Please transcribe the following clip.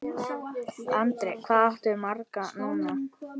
Andri: Hvað áttu marga núna?